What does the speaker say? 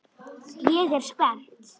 Ég er spennt.